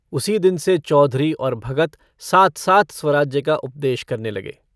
उसी दिन से चौधरी और भगत साथ-साथ स्वराज्य का उपदेश करने लगे।